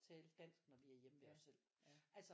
Tale dansk når vi er hjemme ved os selv altså